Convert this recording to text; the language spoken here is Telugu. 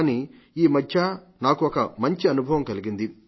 కానీ ఈ మధ్య నాకు ఒక మంచి అనుభవం కలిగింది